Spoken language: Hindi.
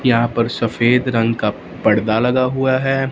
यहां पर सफेद रंग का पर्दा लगा हुआ है।